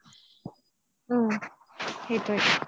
সেইটোয়ে